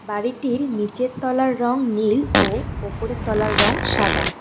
বাড়িটির নীচের তলার রং নীল ও ওপরের তলার রঙ সাদা।